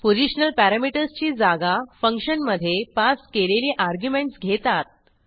positional parameters ची जागा फंक्शनमधे पास केलेली अर्ग्युमेंटस घेतात